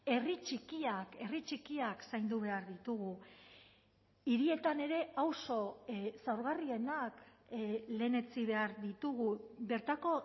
herri txikiak herri txikiak zaindu behar ditugu hirietan ere auzo zaurgarrienak lehenetsi behar ditugu bertako